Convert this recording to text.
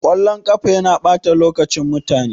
Kallon ƙafa yana ɓata lokacin mutane.